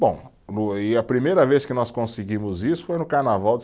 Bom, o e a primeira vez que nós conseguimos isso foi no Carnaval de